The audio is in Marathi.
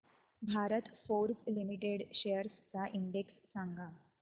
भारत फोर्ज लिमिटेड शेअर्स चा इंडेक्स सांगा